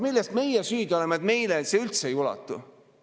Milles meie süüdi oleme, et meieni see üldse ei ulatu?